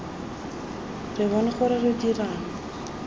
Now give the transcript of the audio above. re bone gore re dirang